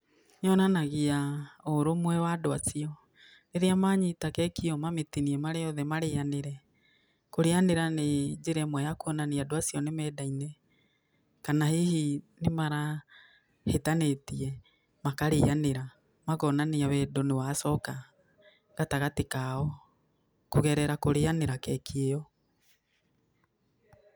Yonanagĩa ũrũmwe wa andũ acio, rĩrĩa manyita keki ĩyo mamĩtinie marĩothe marĩanĩre, kũrĩyanĩra nĩ njĩra ĩmwe ya kuonania andũ acio nĩ meendaine, kana hihi nĩ marahĩtanĩtie, makarĩyanĩre, makonania wendo nĩ wacoka, gatagatĩ kao, kũgerera kũrĩyanĩra keki ĩyo.